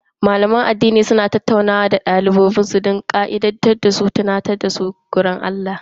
Malaman addini suna tattaunawa da mabiyan su don jan hankali da tunatarwa kan bin ka'idojin Allah.